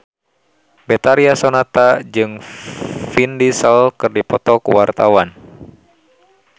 Betharia Sonata jeung Vin Diesel keur dipoto ku wartawan